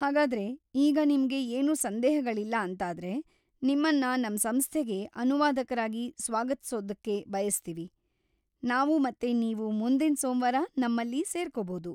ಹಾಗಾದ್ರೆ, ಈಗ್ ನಿಮ್ಗೆ‌ ಏನೂ ಸಂದೇಹಗಳಿಲ್ಲ ಅಂತಾದ್ರೆ, ನಿಮ್ಮನ್ನ ನಮ್ ಸಂಸ್ಥೆಗೆ ಅನುವಾದಕ್ರಾಗಿ ಸ್ವಾಗತ್ಸೋದಕ್ಕೆ ಬಯಸ್ತೀವಿ ನಾವು ಮತ್ತೆ ನೀವು ಮುಂದಿನ್ ಸೋಮ್ವಾರ ನಮ್ಮಲ್ಲಿ ಸೇರ್ಕೋಬಹುದು.